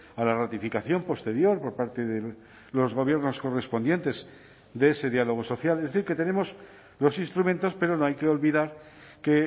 a la ratificación posterior por parte de los gobiernos correspondientes de ese diálogo social es decir que tenemos los instrumentos pero no hay que olvidar que